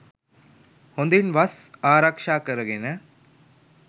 හොඳින් වස් ආරක්ෂා කරගෙන,